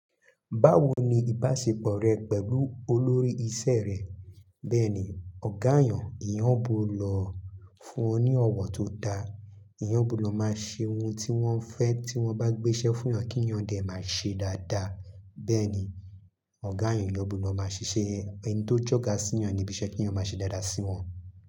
Báwo ni ìbáṣepọ̀ rẹ pẹ̀lú olórí iṣẹ́ rẹ? Bẹ́ẹ̀ni, ọ̀gá eyàn, eyàn gbọdọ fún ní ọ̀wọ̀ tó da. Eyàn gbọdọ máa ṣe ohun tí wọ́n fẹ́ tí wọ́n bá gbéṣẹ́ fún yàn kí yàn dè máa ṣe dáadáa. Bẹ́ẹ̀ni, ọ̀gá eyàn, eyàn gbọdọ máa ṣiṣẹ́, ẹni tó jọ́ga sí yàn níbi iṣẹ́ kí èyán máa ṣe dáadáa sí wọn.